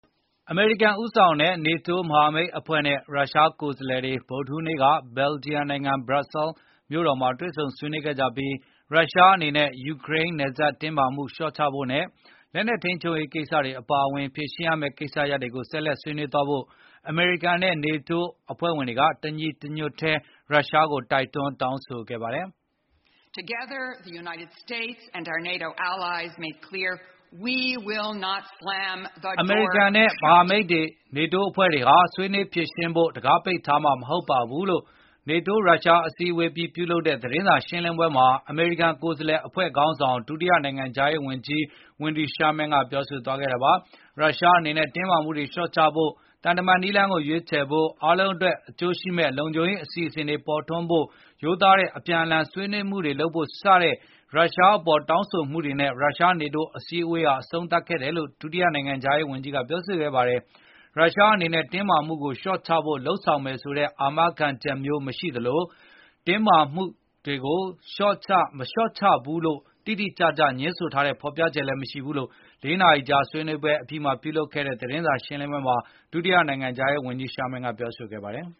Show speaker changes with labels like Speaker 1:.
Speaker 1: အမေရိကန်ဦးဆောင်တဲ့ NATO မဟာမိတ်အဖွဲ့နဲ့ ရုရှားကိုယ်စားလှယ်တွေ ဗုဒ္ဓဟူးနေ့က ဘယ်ဂျီယံနိုင်ငံ ဘရပ်ဆဲလ် မြို့တော်မှာတွေဆုံဆွေးနွေးခဲ့ကြပြီး ရုရှားအနေနဲ့ ယူကရိန်း နယ်စပ်တင်း မာမှုတွေလျော့ချဖို့နဲ့ လက်နှက်ထိန်းချုပ်ရေးကိစ္စအပါအဝင် ဖြေရှင်းရမယ့်ကိစ္စရပ်တွေကု ိဆက်လက် ဆွေးနွေးသွားဖို့ အမေရိကန်နဲ့ NATO အဖွဲ့ဝင် တွေကတညီတညွတ်ထဲ ရုရှားကိုတိုက်တွန်း တောင်းဆိုခဲ့ပါတယ်။
Speaker 2: အမေရိကန်နဲ့မ
Speaker 1: ဟာမိတ် နေတိုးအနေနဲ့ ဆွေးနွေးဖြေရှင်းဖို့ကိုတခါးပိတ်ထားမှာ မဟုတ်ပါဘူးလို့ NATO ရုရှားအစည်းအဝေးအပြီးပြုလုပ်တဲသတင်းစာရှင်းလင်းပွဲမှာအမေရိကန်ကိုယ်စားလှယ်အဖွဲခေါင်းဆောင် ဒုတိယနိုင်ငံခြားရေးဝန်ကြီး Wendy Sherman ပြောဆိုခဲ့တာပါ။ ရုရှားအနေနဲ့တင်းမာမှုတွေလျော့ချဖို့၊ သံတမန်နည်းလမ်းကိုရွေးချယ်ဖို့၊ အားလုံး အတွက်အကျိုးရှိမယ့် လုံခြုံရေးအစီစဉ်တွေပေါ်ထွန်းလာဖိုရိုသားတဲ့အပြန်အလှန် ဆွေးနွေးမှုတွေလုပ်ဖို့စတဲ့ ရုရှား အပေါ်တောင်းဆိုမှုတွေနဲ့ ရုရှား-နေတိုးအစည်း အဝေးဟာအဆုံးသတ်ခဲ့တယ်လို့ ဒုတိယနိုင်ငံခြားရေး ဝန်ကြီး Wendy Sherman ကပြောဆိုခဲ့ပါတယ်။ ရုရှားအနေနဲ့တင်းမှာမှုတွေကိုလျော့ချဖို့လုပ်ဆောင်မယ်ဆိုတဲ့အာမခံချက်မျိုးမရှိသလို၊ တင်းမာမှု တွေကိုလျော့မချဘူးလို့တိတိကျကျငြင်းဆိုတဲ့ဖေါ်ပြချက်လည်းမရှိဘူးလို့ ၄ နာရီကြာ ဆွေးနွေးပွဲ အပြီးပြုလုပ်ခဲ့တဲ့ သတင်းစာရှင်းလင်းပွဲမှာ ဒုဝန်ကြီး Sharman ကပြောဆို ခဲ့ပါတယ်။